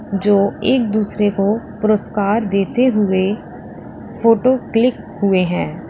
जो एक दूसरे को पुरस्कार देते हुए फोटो क्लिक हुए हैं।